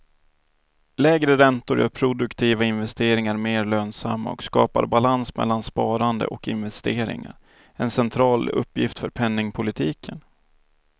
Lägre räntor gör produktiva investeringar mer lönsamma och skapar balans mellan sparande och investeringar, en central uppgift för penningpolitiken.